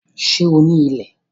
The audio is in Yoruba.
Sé o ní ilẹ̀?